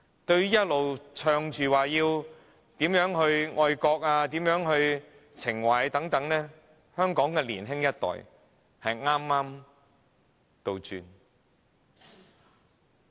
政府一直宣傳，呼籲大家要愛國，要有愛國情懷，但香港的年輕人卻背道而馳。